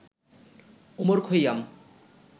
Omar Khayyam